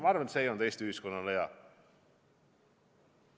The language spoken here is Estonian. Ma arvan, et see ei olnud Eesti ühiskonnale hea.